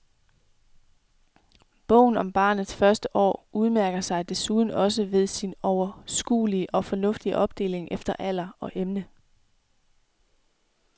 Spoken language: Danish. Bogen om barnets første år udmærker sig desuden også ved sin overskuelige og fornuftige opdeling efter alder og emne.